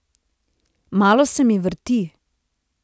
Malo se mi vrti.